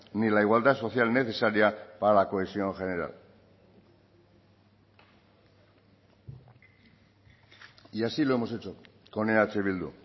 ni la igualdad social necesaria para la cohesión general y así lo hemos hecho con eh bildu